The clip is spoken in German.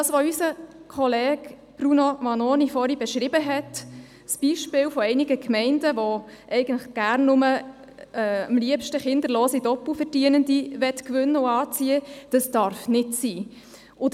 Was unser Kollege Bruno Vanoni vorher beschrieben hat, nämlich das Beispiel einiger Gemeinden, die eigentlich am liebsten kinderlose Doppelverdienende gewinnen und anziehen möchten, darf nicht sein.